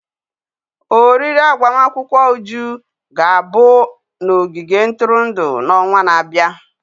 oriri agbamakwụkwọ Uju ga-abụ n'ogige ntụrụndụ n'ọnwa na-abịa.